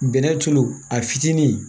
Bɛnɛ tulu a fitinin